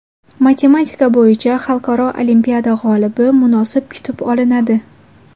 Matematika bo‘yicha xalqaro olimpiada g‘olibi munosib kutib olinadi.